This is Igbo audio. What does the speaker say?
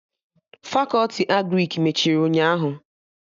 Fakọti Agrịk mechiri ụnyaahụ